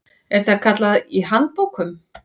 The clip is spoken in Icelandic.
er það kallað í handbókum.